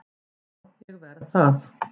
Já, ég verð það